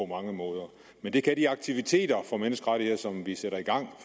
mange måder men det kan de aktiviteter for menneskerettigheder som vi sætter i gang